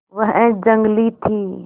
वह जंगली थी